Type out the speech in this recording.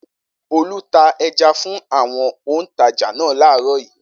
Olú ta ẹja fún àwọn òǹtajà náà láàárọ̀ yìí.